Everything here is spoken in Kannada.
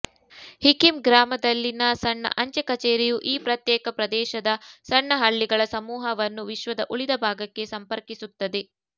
ಹಿಕಿಮ್ ಗ್ರಾಮದಲ್ಲಿನ ಸಣ್ಣ ಅಂಚೆ ಕಛೇರಿಯು ಈ ಪ್ರತ್ಯೇಕ ಪ್ರದೇಶದ ಸಣ್ಣ ಹಳ್ಳಿಗಳ ಸಮೂಹವನ್ನು ವಿಶ್ವದ ಉಳಿದ ಭಾಗಕ್ಕೆ ಸಂಪರ್ಕಿಸುತ್ತದೆ